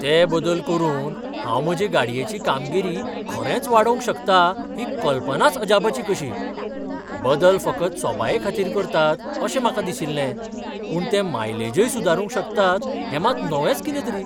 ते बदल करून हांव म्हजे गाडयेची कामगिरी खरेंच वाडोवंक शकता ही कल्पनाच अजापाची कशी. बदल फकत सोबायेखातीर करतात अशें म्हाका दिशिल्लें, पूण ते मायलेजय सुदारूंक शकतात हें मात नवेंच कितेंतरी.